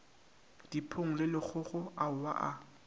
dipong le lekgokgo aowa a